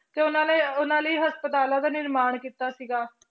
ਤੇ ਉਹਨਾਂ ਨੇ ਉਹਨਾਂ ਲਈ ਹਸਪਤਾਲਾਂ ਦਾ ਨਿਰਮਾਣ ਕੀਤਾ ਸੀਗਾ।